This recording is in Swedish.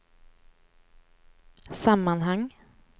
sammanhang